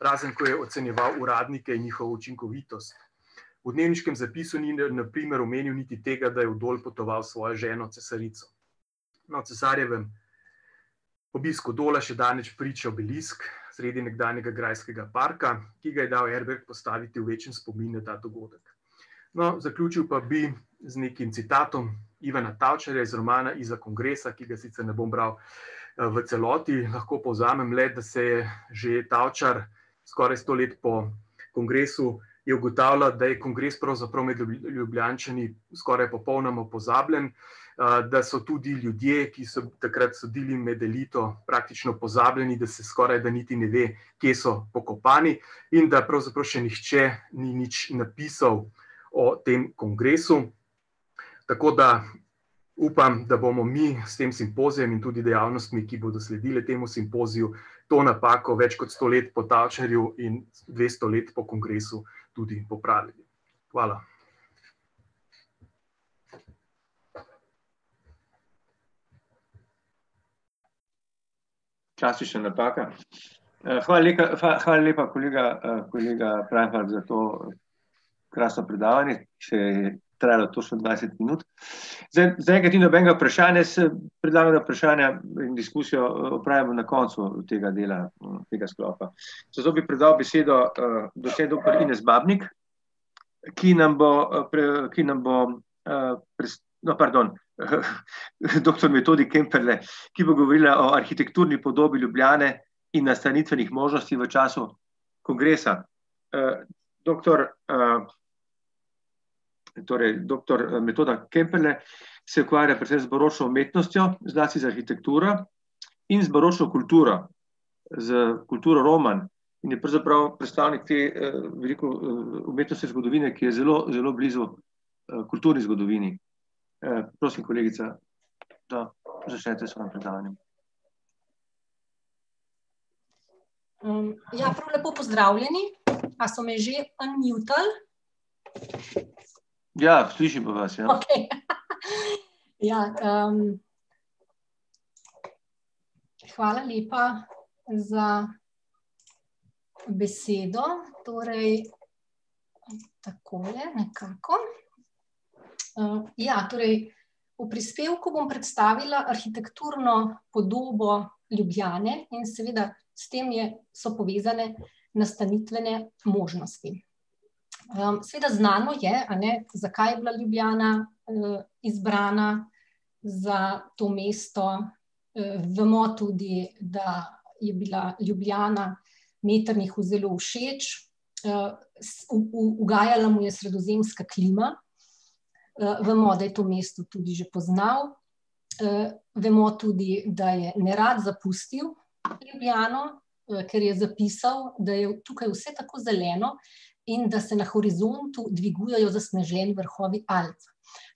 razen ko je ocenjeval uradnike in njihovo učinkovitost. V dnevniškem zapisu ni na primer omenil niti tega, da je v Dol potoval s svojo ženo cesarico. No, o cesarjevem obisku Dola še danes priča obelisk sredi nekdanjega grajskega parka, ki ga je dal Erberg postaviti v večni spomin na ta dogodek. No, zaključil pa bi z nekim citatom Ivana Tavčarja iz romana Izza kongresa, ki ga sicer ne bom bral, v celoti, lahko povzamem le, da se je že Tavčar skoraj sto let po kongresu, je ugotavljal, da je kongres pravzaprav med Ljubljančani skoraj popolnoma pozabljen, da so tudi ljudje, ki so takrat sodili med elito, praktično pozabljeni, da se skorajda niti ne ve, kje so pokopani, in da pravzaprav še nihče ni nič napisal o tem kongresu. Tako da upam, da bomo mi s tem simpozijem in tudi dejavnostmi, ki bodo sledile temu simpoziju, to napako več kot sto let po Tavčarju in dvesto let po kongresu tudi popravili. Hvala. Čas si še nataka. hvala hvala lepa, kolega, kolega Preinfalk za to krasno predavanje, če trajalo točno dvajset minut. zaenkrat ni nobenega vprašanja, predlagam, da vprašanja in diskusijo opravimo na koncu, tega dela, tega sklopa. Zato bi predal besedo, docent doktor Ines Babnik, ki nam bo, ki nam bo, no, pardon. Doktor Metodi Kemperle, ki bo govorila o arhitekturni podobi Ljubljane in nastanitvenih možnosti v času kongresa. doktor, torej doktor, Metoda Kemperle se ukvarja predvsem z baročno umetnostjo, zlasti z arhitekturo in z baročno kulturo, s kulturo romanj. In je pravzaprav predstavnik te, bom rekel, umetnostne zgodovine, ki je zelo, zelo blizu, kulturni zgodovini. prosim, kolegica, da začnete svoje predavanje. ja, prav lepo pozdravljeni. A so me že unmutal? Ja, slišimo vas, ja. Okej. Ja, ... Hvala lepa za besedo, torej takole nekako. ja, torej v prispevku bom predstavila arhitekturno podobo Ljubljane in seveda s tem je, so povezane nastanitvene možnosti. seveda znano je, a ne, zakaj je bila Ljubljana, izbrana za to mesto, vemo tudi, da je bila Ljubljana Metternichu zelo všeč. ugajala mu je sredozemska klima, vemo, da je to mesto tudi že poznal. vemo tudi, da je nerad zapustil Ljubljano, ker je zapisal, da je tukaj vse tako zeleno in da se na horizontu dvigujejo zasneženi vrhovi Alp.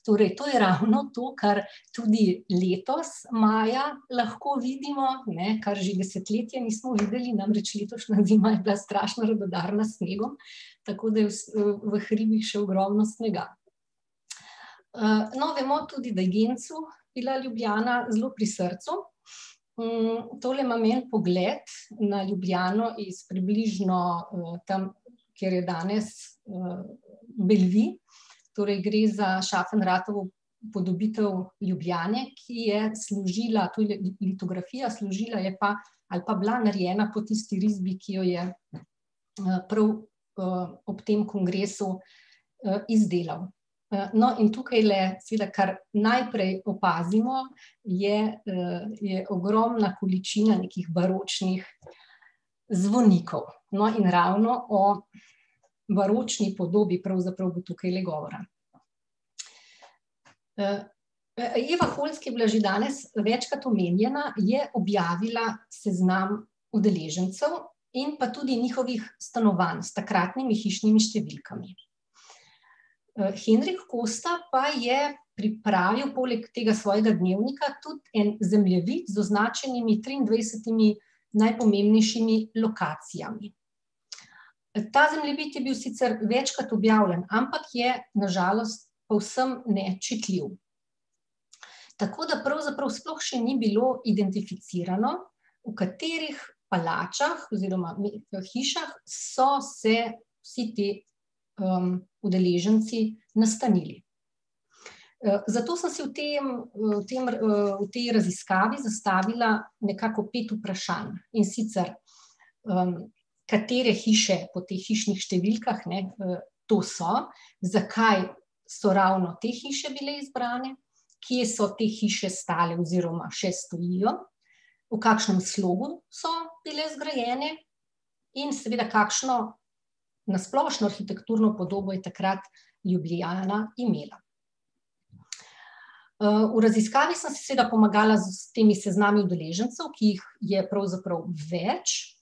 Torej to je ravno to, kar tudi letos maja lahko vidimo, ne, kar že desetletja nismo videli, namreč letošnja zima je bila strašno radodarna s snegom, tako je v hribih še ogromno snega. no vemo tudi, da je Gencu bila Ljubljana zelo pri srcu. tole imam en pogled na Ljubljano iz približno, tam, kjer je danes, Bellevue. Torej gre za Schaffenratovo upodobitev Ljubljane, ki je služila, litografija, služila je pa ali pa bila narejena po tisti risbi, ki jo je, prav, ob tem kongresu, izdelal. no, in tukajle seveda, kar najprej opazimo, je, je ogromna količina nekih baročnih zvonikov. No, in ravno o baročni podobi pravzaprav bo tukajle govora. Eva Holc, ki je bila že danes večkrat omenjena, je objavila seznam udeležencev in pa tudi njihovih stanovanj s takratnimi hišnimi številkami. Henrik Kosta pa je pripravil, poleg tega svojega dnevnika, tudi en zemljevid z označenimi triindvajsetimi najpomembnejšimi lokacijami. ta zemljevid je bil sicer večkrat objavljen, ampak je na žalost povsem nečitljiv. Tako da pravzaprav sploh še ni bilo identificirano, v katerih palačah oziroma, hišah so se vsi ti, udeleženci nastanili. zato sem si v tem, tem, te raziskavi zastavila nekako pet vprašanj, in sicer: katere hiše po teh hišnih številkah, ne, to so, zakaj so ravno te hiše bile izbrane, kje so te hiše stale oziroma še stojijo, v kakšnem slogu so bile zgrajene in seveda kakšno nasplošno arhitekturno podobo je takrat Ljubljana imela. v raziskavi sem si seveda pomagala s temi seznami z udeležencev, ki jih je pravzaprav več,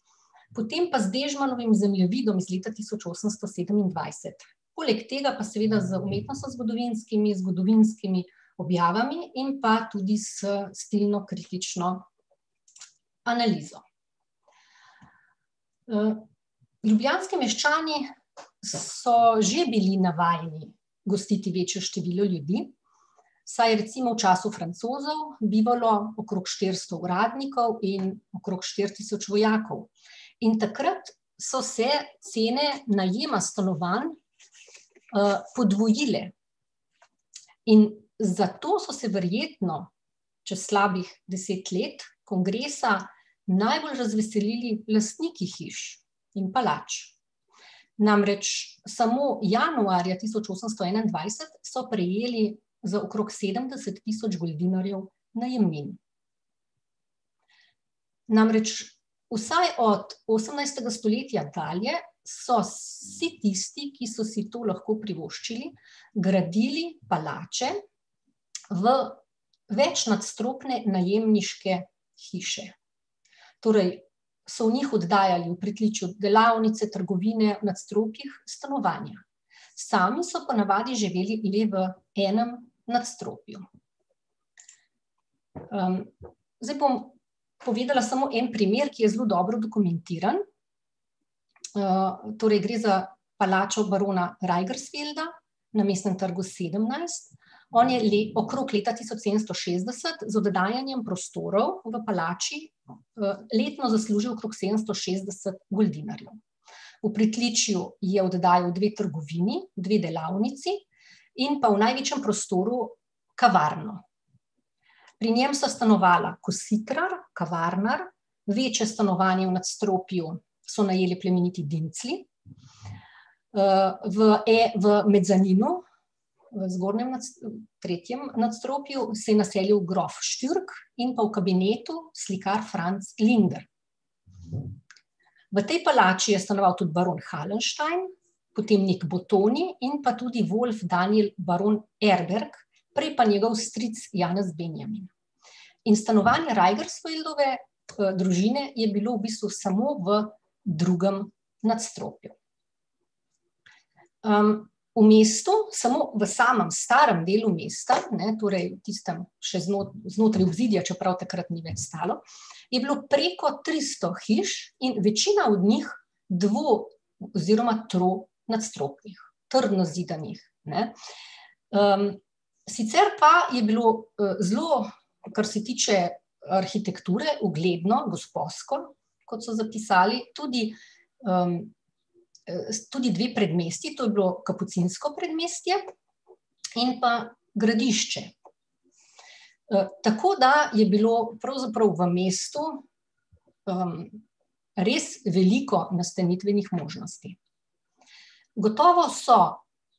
potem pa z Dežmanovim zemljevidom iz leta tisoč osemsto sedemindvajset. Poleg tega pa seveda z umetnostnozgodovinskimi, zgodovinskimi objavami in pa tudi s stilnokritično analizo. ljubljanski meščani so že bili navajeni gostiti večjo število ljudi, saj je recimo v času Francozov bivalo okrog štiristo uradnikov in okrog štiri tisoč vojakov. In takrat so se cene najema stanovanj, podvojile. In zato so se verjetno čez slabih deset let kongresa najbolj razveselili lastniki hiš in palač. Namreč samo januarja tisoč osemsto enaindvajset so prejeli za okrog sedemdeset tisoč goldinarjev najemnin. Namreč vsaj od osemnajstega stoletja dalje so vsi tisti, ki so si to lahko privoščili, gradili palače v večnadstropne najemniške hiše. Torej so v njih oddajali v pritličju delavnice, trgovine, v nadstropjih stanovanja. Sami so po navadi živeli ljudje v enem nadstropju. zdaj bom povedala samo en primer, ki je zelo dobro dokumentirano. torej gre za palačo barona Reigersfielda na Mestnem trgu sedemnajst, on je okrog leta tisoč sedemsto šestdeset z oddajanjem prostorov v palači, letno zaslužil okrog sedemsto šestdeset goldinarjev. V pritličju je oddajal dve trgovini, dve delavnici in pa v največjem prostoru kavarno. Pri njem sta stanovala kositrar, kavarnar, večje stanovanje v nadstropju so najeli plemeniti Dimclji, v v mezaninu v zgornjem tretjem nadstropju se je naselil grof Šturk in pa v kabinetu slikar Franc Glinder. V tej palači je stanoval tudi baron Halnstein, potem Nik Botonij in pa tudi Volf Daniel baron Erberg, prej pa njegov stric Janez Benjamin. In stanovanje Rajbersfildove, družine je bilo v bistvu samo v drugem nadstropju. v mestu, samo v samem starem delu mesta, ne, torej tista še znotraj obzidja, čeprav takrat ni več stalo, je bilo preko tristo hiš in večina od njih dvo- oziroma tronadstropnih, trdno zidanih, ne. sicer pa je bilo, zelo, kar se tiče arhitekture, ugledno, gosposko, kot so zapisali tudi, tudi dve predmestji, to je bilo kapucinsko predmestje in pa Gradišče. tako da je bilo pravzaprav v mestu, res veliko nastanitvenih možnosti. Gotovo so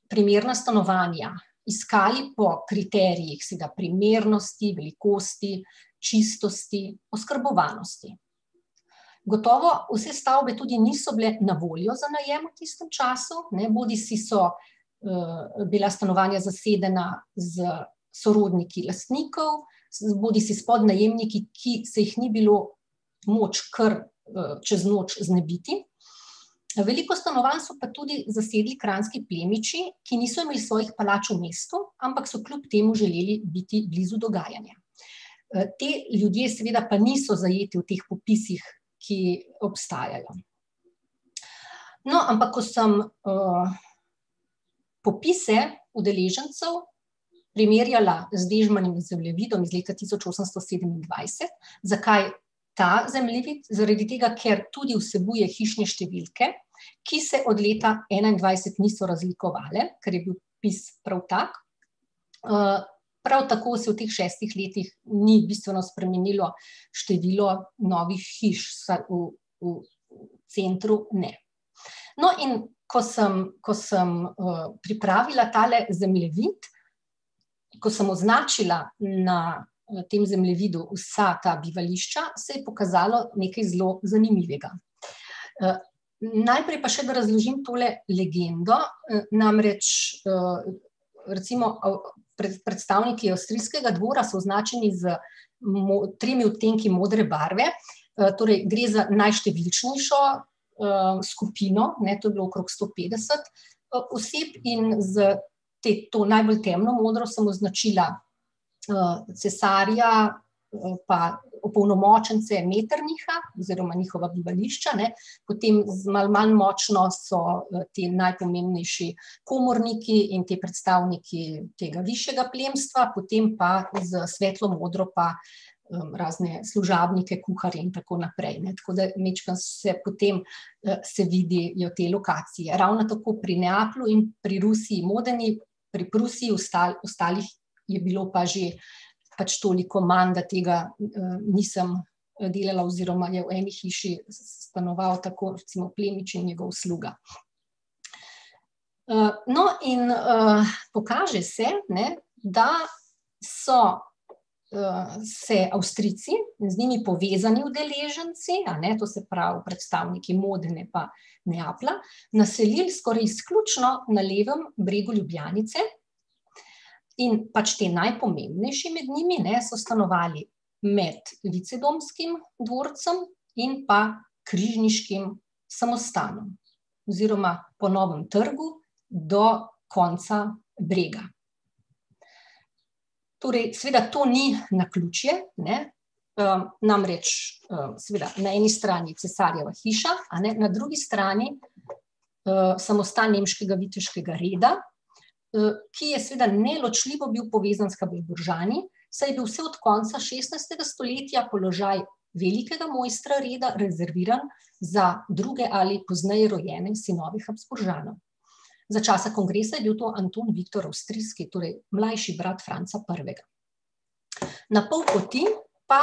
primerna stanovanja iskali po kriterijih seveda primernosti, velikosti, čistosti, oskrbovanosti. Gotovo vse stavbe tudi niso bile na voljo za najem v tistem času, ne, bodisi so, bila stanovanja zasedena s sorodniki lastnikov bodisi s podnajemniki, ki se jih ni bilo moč kar, čez noč znebiti. veliko stanovanj so pa tudi zasedli kranjski plemiči, ki niso imeli svojih palač v mestu, ampak so kljub temu želeli biti blizu dogajanja. ti ljudje seveda pa niso zajeti v teh popisih, ki obstajajo. No, ampak ko sem, popise udeležencev primerjala z Dežmanovim zemljevidom iz leta tisoč osemsto sedemindvajset, zakaj ta zemljevid, zaradi tega, ker tudi vsebuje hišne številke, ki se od leta enaindvajset niso razlikovale, ker je bil opis prav tak. prav tako se v teh šestih letih ni bistveno spremenilo število novih hiš, vsaj v, v centru ne. No, in ko sem, ko sem, pripravila tale zemljevid, ko sem označila na, tem zemljevidu vsa ta bivališča, se je pokazalo nekaj zelo zanimivega. najprej pa še, da razložim tole legendo, namreč, recimo predstavniki avstrijskega dvora so označeni s tremi odtenki modre barve, torej gre za najštevilčnejšo skupino, ne, to je bilo okrog sto petdeset, oseb in z te, to najbolj temno modro sem označila, cesarja, pa opolnomočence Metternicha oziroma njihova bivališča, ne, potem z malo manj močno so ti najpomembnejši komorniki in ti predstavniki tega višjega plemstva, potem pa, s svetlo modro pa, razne služabnike, kuharje in tako naprej, ne, tako da majčkeno se potem, se vidijo te lokacije. Ravno tako pri Neaplju in pri Rusiji Modeni, pri Prusiji, ostalih je bilo pa že pač toliko manj, da tega, nisem delala oziroma je v eni hiši stanoval tako recimo plemič in njegov sluga. no, in, pokaže se, ne, da so, se Avstrijci, z njimi povezanimi udeleženci, a ne, to se pravi predstavniki Modene pa Neaplja, naselili skoraj izključno na levem bregu Ljubljanice in pač ti najpomembnejši med njimi, ne, so stanovali med Licedomskim dvorcem in pa Križniškim samostanom oziroma po Novem trgu do konca Brega. Torej seveda to ni naključje, ne, namreč, seveda, na eni strani cesarjeva hiša, a ne, na drugi strani, samostan nemškega viteškega reda, ki je seveda neločljivo bil povezan s Habsburžani, saj je bil od vse od konca šestnajstega stoletja položaj velikega mojstra reda rezerviran za druge ali pozneje rojene sinove Habsburžanov. Za časa kongresa je bil to Anton Viktor Avstrijski, torej mlajši brat Franca Prvega. Na pol poti pa,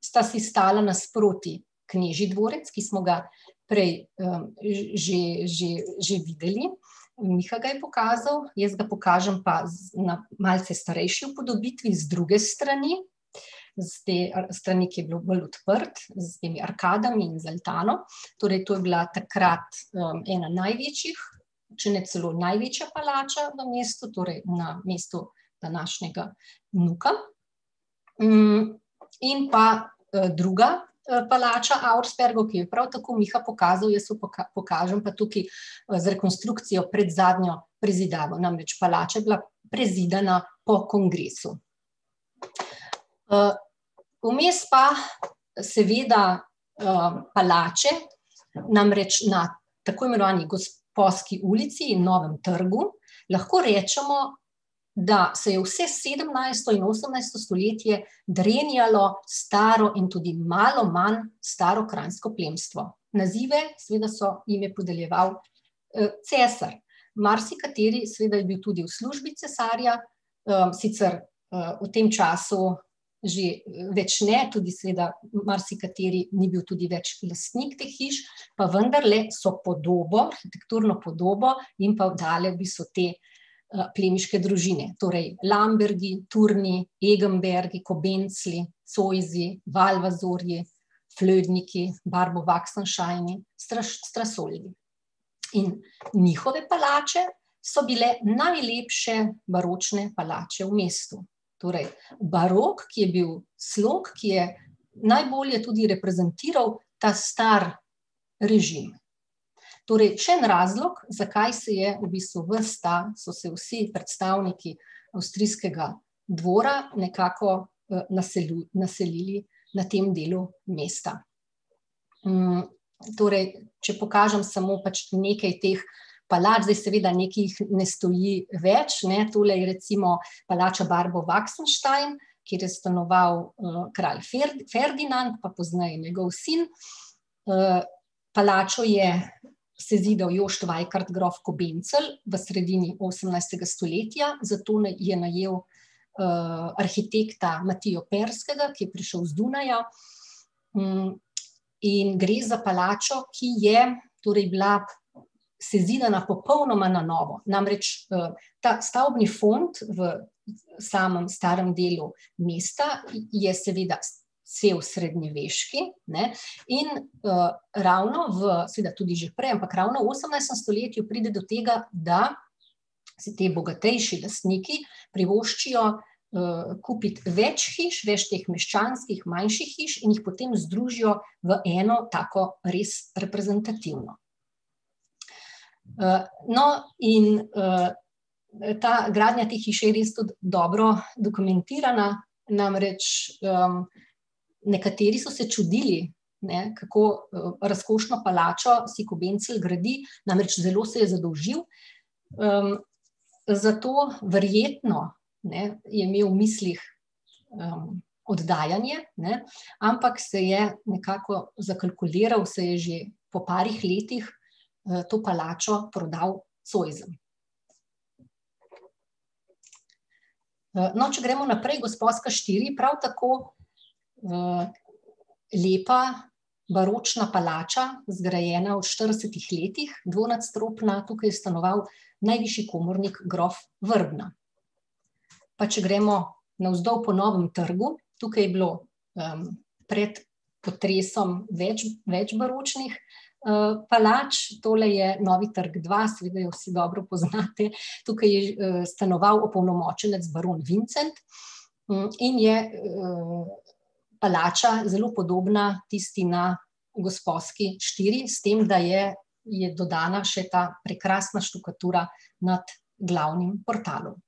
sta si stala nasproti knežji dvorec, ki smo ga prej, že, že, že videli, Miha ga je pokazal, jaz ga pokažem pa na malce starejši upodobitvi, z druge strani, s te strani, kjer je bilo bolj odprto, s temi arkadami in z altano, torej to je bila takrat, ena največjih, če ne celo največja palača v mestu, torej na mestu današnjega NUK-a. in pa, druga, palača Auerspergov, ki jo je prav tako Miha pokazal, jaz jo pokažem pa tukaj, z rekonstrukcijo pred zadnjo prezidavo, namreč palača je bila prezidana po kongresu. vmes pa seveda, palače, namreč na tako imenovani Gosposki ulici in Novem trgu lahko rečemo, da se je vse sedemnajsto in osemnajsto stoletje drenjalo staro in tudi malo manj staro kranjsko plemstvo, nazive seveda so, jim je podeljeval, cesar. Marsikateri seveda je bil tudi v službi cesarja, sicer, v tem času že več ne, tudi seveda marsikateri ni bil tudi več lastnik hiš, pa vendarle so podobo, arhitekturno podobo jim pa oddale v bistvu te, plemiške družine, torej Lambergi, Turni, Egenbergi, Kobencli, Zoisi, Valvazorji, Fludniki, Barbobaksensteini, Strasoldi. In njihove palače so bile najlepše baročne palače v mestu, torej barok, ki je bil slog, ki je najbolje tudi reprezentiral ta stari režim. Torej še en razlog, zakaj se je v bistvu ves ta, so se vsi predstavniki avstrijskega dvora nekako, naselili na tem delu mesta. torej če pokažem samo pač nekaj teh palač, zdaj seveda nekaj jih ne stoji več, ne, tole je recimo palača Barbobaksenstein, kjer je stanoval, kralj Ferdinand, pa pozneje njegov sin, palačo je sezidal Jošt Vajkard, grof Kobencel, v sredini osemnajstega stoletja, za tone je najel, arhitekta Matijo Ferskega, ki je prišel z Dunaja, in gre za palačo, ki je torej bila sezidana popolnoma na novo, namreč, ta stavbni fond v samem starem delu mesta je seveda cel srednjeveški, ne, in, ravno v, seveda tudi že prej, ampak ravno v osemnajstem stoletju pride do tega, da se ti bogatejši lastniki privoščijo, kupiti več hiš, več teh meščanskih manjših hiš in jih potem združijo v eno tako res reprezentativno. no, in, ta gradnja te hiše je res tudi dobro dokumentirana, namreč, nekateri so se čudili, ne, kako, razkošno palačo si Kobencel gradi, namreč zelo se je zadolžil. zato verjetno, ne, je imel v mislih, oddajanje, ne, ampak se je nekako zakalkuliral, saj je že po parih letih, to palačo prodal Zoisom. no, če gremo naprej, Gosposka štiri, prav tako, lepa baročna palača, zgrajena v štiridesetih letih, dvonadstropna, tukaj je stanoval najvišji komornik, grof Vrbna. Pa če gremo navzdol po Novem trgu, tukaj je bilo, pred potresom več, več baročnih, palač, tole je Novi trg dva, seveda jo vsi dobro poznate, tukaj je stanoval opolnomočenec baron Vincent, in je, palača zelo podobna tisti na Gosposki štiri, s tem da je, je dodana še ta prekrasna štukatura nad glavnim portalom.